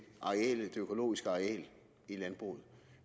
økologiske areal i landbruget